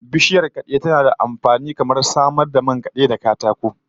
Bishiyar kade tana da amfani kamar na samar da man kade da katako